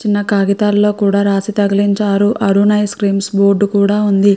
చిన్న కాగితాలలో కూడా రాసి తగిలించారు అరుణ్ ఐస్ క్రీమ్స్ బోర్డు కూడా ఉంది.